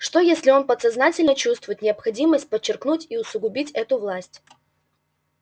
что если он подсознательно чувствует необходимость подчеркнуть и усугубить эту власть